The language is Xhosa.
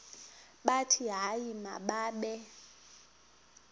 bathi hayi mababe